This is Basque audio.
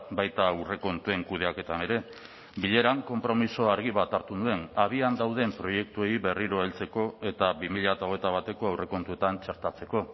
baita aurrekontuen kudeaketan ere bileran konpromiso argi bat hartu nuen abian dauden proiektuei berriro heltzeko eta bi mila hogeita bateko aurrekontuetan txertatzeko